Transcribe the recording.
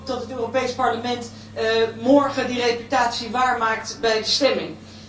Ik hoop dat het Europees Parlement morgen die reputatie waarmaakt bij de stemming.